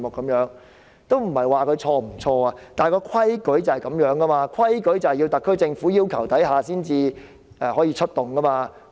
我並非要指責他們對或錯，但規矩是解放軍須在特區政府要求下才能出動。